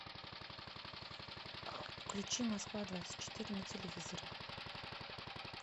включи москва двадцать четыре на телевизоре